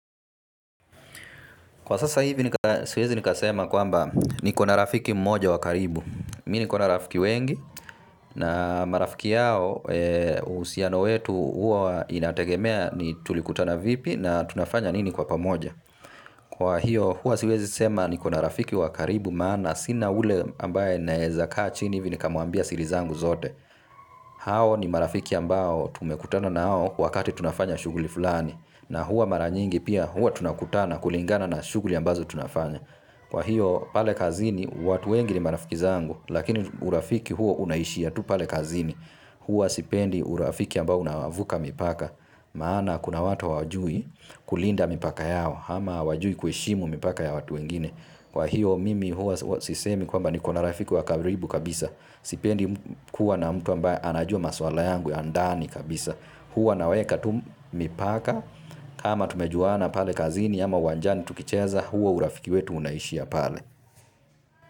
Kwa sasa hivi siwezi nikasema kwamba nikona rafiki mmoja wa karibu. Mi nikona rafiki wengi na marafiki yao usiano wetu huwa inategemea ni tulikutana vipi na tunafanya nini kwa pamoja. Kwa hiyo huwa siwezi sema nikona rafiki wa karibu maana sina ule ambaye naeza kaa chini hivi nikamuambia siri zangu zote. Hao ni marafiki ambao tumekutana na hao wakati tunafanya shuguli fulani. Na huwa mara nyingi pia huwa tunakutana kulingana na shuguli ambazo tunafanya. Kwa hiyo pale kazini, watu wengi ni marafiki zangu, lakini urafiki huo unaishia tu pale kazini, hua sipendi urafiki ambao unawavuka mipaka maana kuna watu hawajui kulinda mipaka yao, ama hawajui kueshimu mipaka ya watu wengine. Kwa hio mimi huwa sisemi kwamba nikona rafiki wa karibu kabisa sipendi kuwa na mtu ambaye anajua maswala yangu ya ndani kabisa huwa naweka tu mipaka ama tumejuana pale kazini ama uwanjani tukicheza huo urafiki wetu unaishia pale.